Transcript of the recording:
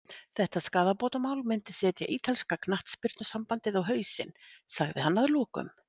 Þetta skaðabótamál myndi setja ítalska knattspyrnusambandið á hausinn, sagði hann að lokum.